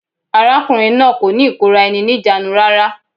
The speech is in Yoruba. Arákùnrin náà kò ní ìkóra-eni-ní-ìjánu rárá.